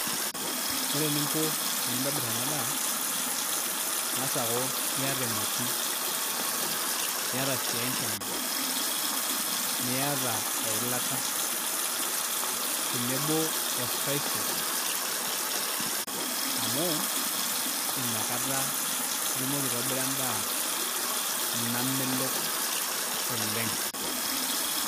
Ore eninko tenintobir enaa daa ing'as akuu iyata emoti, iyata sii enkima, niyata eilata, tenebo oo spices, amuu inakataa itumoko aitobira edaa namelok oleng'.